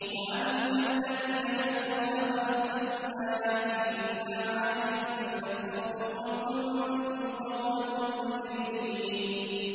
وَأَمَّا الَّذِينَ كَفَرُوا أَفَلَمْ تَكُنْ آيَاتِي تُتْلَىٰ عَلَيْكُمْ فَاسْتَكْبَرْتُمْ وَكُنتُمْ قَوْمًا مُّجْرِمِينَ